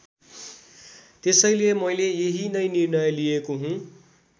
त्यसैले मैले यही नै निर्णय लिएको हुँ।